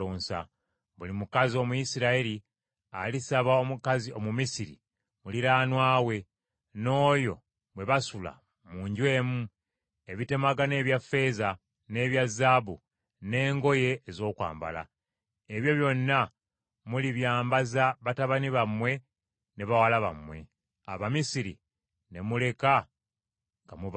Buli mukazi Omuyisirayiri alisaba omukazi Omumisiri muliraanwa we, n’oyo bwe basula mu nju emu, ebitemagana ebya ffeeza n’ebya zaabu, n’engoye ez’okwambala. Ebyo byonna mulibyambaza batabani bammwe ne bawala bammwe; Abamisiri ne muleka nga mubakalizza.”